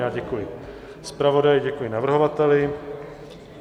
Já děkuji zpravodaji, děkuji navrhovateli.